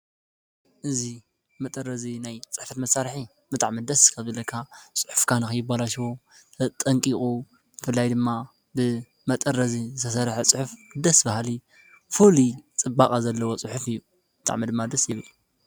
እዙ መጠረዙ ናይ ጽሕፈት መሣርሒ መጥዕይብሉስ ከብለካ ጽሑፍካና ይባላሸዉ ጠንቂቑ ፍላይ ድማ ብ መጠረዘ ተሠርሕ ጽሑፍ ደስ ባሃሊ ፉል ጽባቓ ዘለዎ ጽሑፍ እዩ ምጣዕመ ድማደስ ይብሉ።